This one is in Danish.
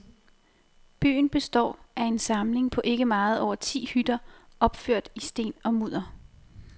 Byen består af en samling på ikke meget over ti hytter opført i sten og mudder.